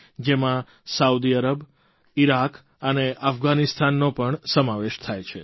જેમાં Saudi Arab Iraq અને અફઘાનિસ્તાનનો પણ સમાવેશ થાય છે